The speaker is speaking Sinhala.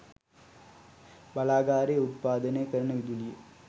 බලාගාරයේ උත්පාදනය කරන විදුලිය